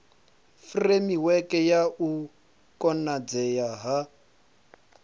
furemiweke ya u konadzea ha